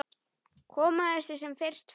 Koma þessu sem fyrst frá.